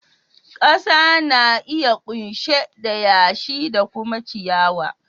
Kasa na iya kunshe da yashi da kuma ciyawa.